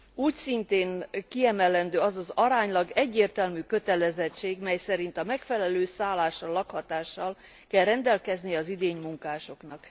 Úgyszintén kiemelendő az az aránylag egyértelmű kötelezettség, mely szerint megfelelő szállással, lakhatással kell rendelkezni az idénymunkásoknak.